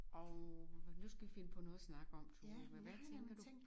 Og nu skal vi finde på noget at snakke om Tove hvad tænker du?